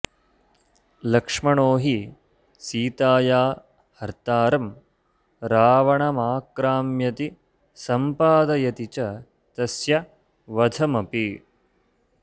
लक्ष्मणो हि सीताया हर्तारं रावणमाक्राम्यति संम्पादयति च तस्य वधमपि